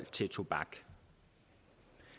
tobak